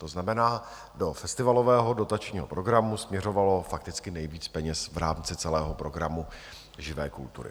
To znamená, do festivalového dotačního programu směřovalo fakticky nejvíc peněz v rámci celého programu živé kultury.